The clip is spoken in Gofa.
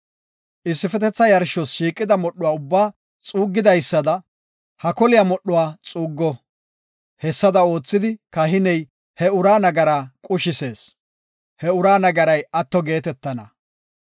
Issifetetha yarshos shiiqida modhuwa ubbaa xuuggidaysada ha koliya modhuwa xuuggo. Hessada oothidi, kahiney he uraa nagara qushisees; he uraa nagaray atto geetetana.